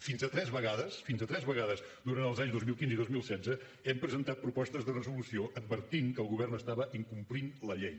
fins a tres vegades fins a tres vegades durant els anys dos mil quinze i dos mil setze hem presentat propostes de resolució que advertien que el govern estava incomplint la llei